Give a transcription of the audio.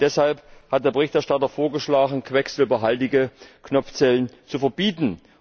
Deshalb hat der Berichterstatter vorgeschlagen, quecksilberhaltige Knopfzellen zu verbieten.